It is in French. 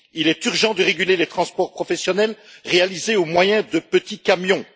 Il est urgent de réguler les transports professionnels réalisés au moyen de petits camions.